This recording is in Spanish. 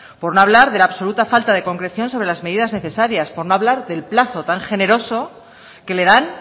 por no hablar de la absoluta falta de concreción sobre las medidas necesarias por no hablar del plazo tan generoso que le dan